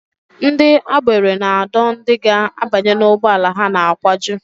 Ndị agbero na-adọ ndị ga-abanye n'ụgbọala ha na-akwaju